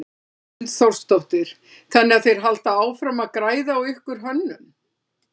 Hrund Þórsdóttir: Þannig að þeir halda áfram að græða á ykkar hönnun?